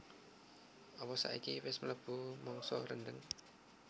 opo saiki wes mlebu mangsa rendheng?